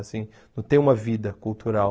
Assim, não tem uma vida cultural.